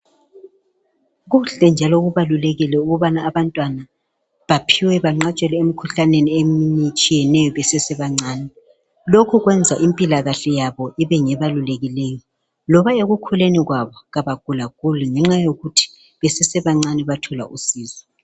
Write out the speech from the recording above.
Kuhle njalo kubalulekile ukubana abantwana baphiwe banqatshelwe emikhuhlaneni eminye etshiyeneyo besasebancane. Lokho kwenza impilakahle yabo ibe ngebalulekileyo. Loba ekukhuleni kwabo abagula guli ngenxa yokuthi ekukhuleni kwabo bathola usizo.